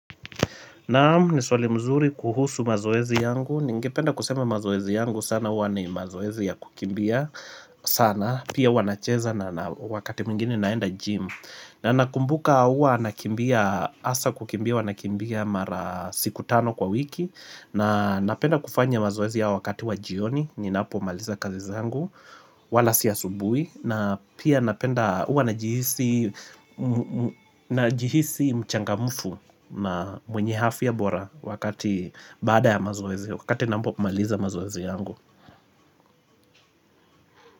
Naamu nisuali mzuri kuhusu mazoezi yangu, ningependa kusema mazoezi yangu sana hua ni mazoezi ya kukimbia sana Pia hua nacheza na wakati mwingine naenda gym na nakumbuka hua nakimbia hasa kukimbia, huanakimbia mara siku tano kwa wiki na napenda kufanya mazoezi ya wakati wa jioni, ninapo maliza kazizangu, wala si asubuhi na pia napenda hua na jihisi mchangamfu na mwenye afya bora wakati baada ya mazoezi Wakati nampo kumaliza mazoezi yangu.